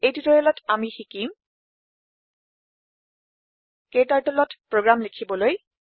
এই টিউটৰিয়েলত আমি শিকিম KTurtleত প্ৰোগ্ৰাম লিখিবলৈ